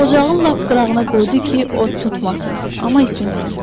Ocağın lap qırağına qoydu ki, od tutmasın, amma isinsin.